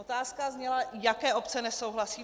Otázka zněla: Jaké obce nesouhlasí?